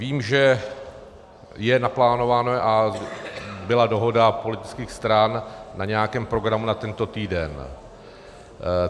Vím, že je naplánováno a byla dohoda politických stran na nějakém programu na tento týden.